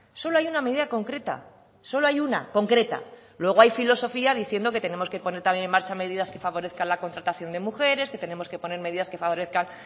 solo hay una medida concreta solo hay una concreta luego hay filosofía diciendo que tenemos que poner también en marcha medidas que favorezcan la contratación de mujeres que tenemos que poner medidas que favorezcan